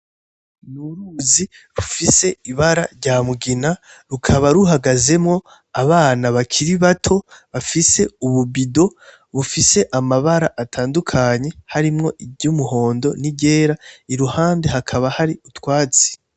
Ni uruzi rufise ibara ry'umugina rukaba ruhagazwemwo n'abana bakiri bato bafise ububido bufise amabara atandukanye harimwo iry'umuhondo, n'iryera iruhande hakaba hari utwatsi.